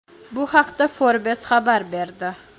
Bu haqda Forbes xabar berdi.